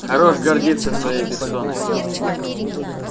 хорош гордиться своей персоной